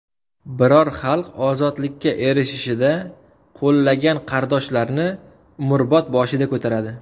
Biror xalq ozodlikka erishishida qo‘llagan qardoshlarni umrbod boshiga ko‘taradi.